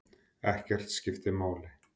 Ekkert skiptir máli.